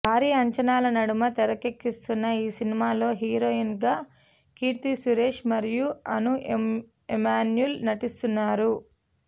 భారీ అంచనాల నడుమ తెరకెక్కుతున్న ఈ సినిమాలో హీరోయిన్స్గా కీర్తి సురేష్ మరియు అను ఎమాన్యూల్ు నటిస్తున్నారు